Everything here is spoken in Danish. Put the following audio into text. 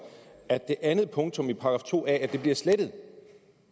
at det andet punktum i § to a bliver slettet